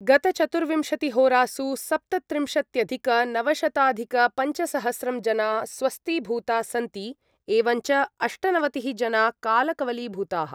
गतचतुर्विंशतिहोरासु सप्तत्रिंशत्यधिकनवशताधिकपञ्चसहस्रं जना स्वस्थीभूता सन्ति, एवञ्च अष्टनवतिः जना कालकवलीभूताः।